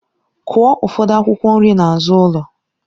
Kụọ ụfọdụ akwụkwọ nri n'azụ ụlọ!